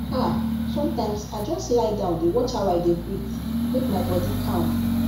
ah sometimes i just lie down dey watch how i dey breathe make my body calm